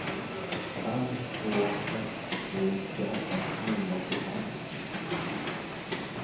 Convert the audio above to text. fem två ett tre tjugoåtta niohundraåttiofem